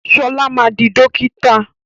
Ṣọlá ma di dókítà!